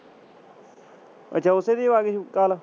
ਅੱਛਾ ਉਸੇ ਦੀ